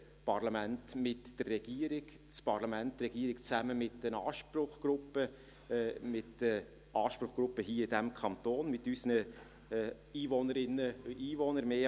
das Parlament mit der Regierung, das Parlament und die Regierung zusammen mit den Anspruchsgruppen, mit den Anspruchsgruppen hier in diesem Kanton, mit unseren mehr als einer Million Einwohnerinnen und Einwohnern.